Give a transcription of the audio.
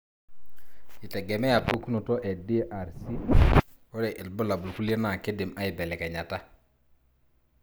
itegemea pukunoto e DRC,ore ilbulabul kulie na kindim aibelekenyata.